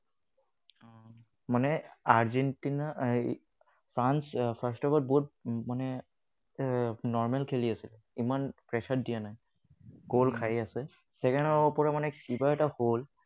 মানে Argentina, France first of all বহুত মানে normal খেলি আছিলে। ইমান pressure দিয়া নাই। Goal খাইয়ে আছে। Second half ৰ পৰা মানে কিবা এটা হল।